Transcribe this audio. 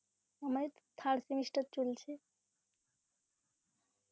আমার third semester চলছে.